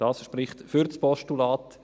Das spricht für das Postulat.